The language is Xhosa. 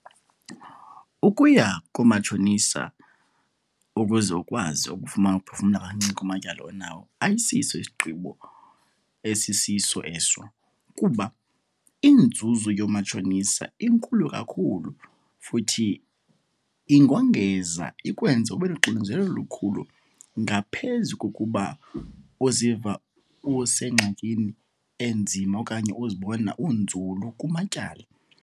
Ukuya koomatshonisa ukuze ukwazi ukufumana ukuphefumla kancinci kumatyala onawo ayisiso isigqibo esisiso eso. Kuba inzuzo yoomatshonisa inkulu kakhulu futhi ingongeza ikwenze ube noxinzelelo olukhulu ngaphezu kokuba uziva usengxakini enzima okanye uzibona unzulu kumatyala.